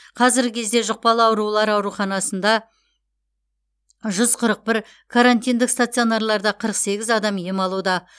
қазіргі кезде жұқпалы аурулар ауруханаларында жүз қырық бір карантиндік стационарларда қырық сегіз адам ем алуда